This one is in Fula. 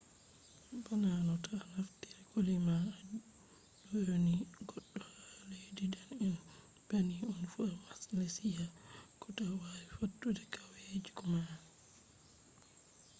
bana no to a naftiri koli ma a ɗyoni goɗɗo ha leddi dane’en bannin on fu ha malesiya ko to a wi fattude kawyeku male